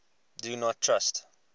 do not trust